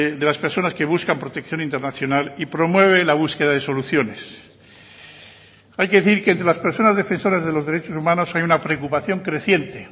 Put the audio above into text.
de las personas que buscan protección internacional y promueve la búsqueda de soluciones hay que decir que entre las personas defensoras de los derechos humanos hay una preocupación creciente